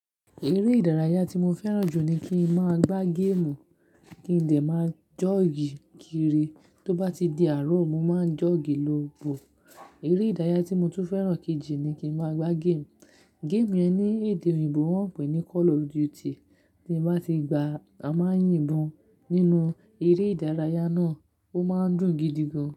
Eré ìdárayá tí mo fẹ́ràn jù ni kí n máa gbá game, kí n dẹ̀ máa joggy kiri. Tó bá ti di àárọ̀, mo máa joggy lọ́ọ́ bọ̀. Eré ìdárayá tí mo tún fẹ́ràn kejì ni kí n máa gbá game. Game yẹn ní èdè òyìnbó wọ́n ń pè ní Call of Duty. Tí mo bá ti gbá, a máa ń yìnbọn. Nínú eré ìdárayá náà, ó máa ń dùn gidi gan.